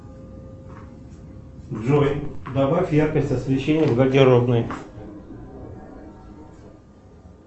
джой добавь яркость освещения в гардеробной